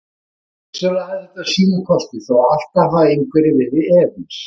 Vissulega hafði þetta sína kosti þó að alltaf hafi einhverjir verið efins.